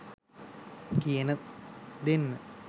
කියන දෙන්නා